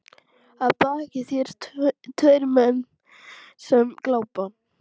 Að baki þér tveir menn sem glápa.